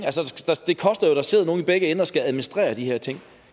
det koster jo at der sidder nogen i begge ender der skal administrere de her ting